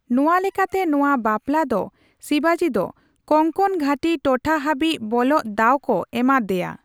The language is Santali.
ᱱᱚᱣᱟ ᱞᱮᱠᱟᱛᱮ ᱱᱚᱣᱟ ᱵᱟᱯᱞᱟ ᱫᱚ ᱥᱤᱵᱟᱡᱤ ᱫᱚ ᱠᱚᱝᱠᱚᱱ ᱜᱷᱟᱹᱴᱤ ᱴᱚᱴᱷᱟ ᱦᱟᱹᱵᱤᱡ ᱵᱚᱞᱚᱜ ᱫᱟᱣ ᱠᱚ ᱮᱢᱟᱜ ᱫᱮᱭᱟ ᱾